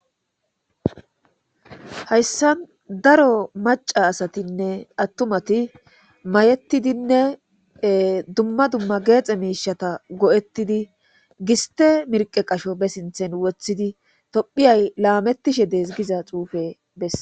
Hayssan daro macca assatine attumati may7etidinne ee duma dima gexe mishata go7ettidi gistte mirqethi qasho be sinthen wothidi tophiyaya lametishe des giza xufe beeses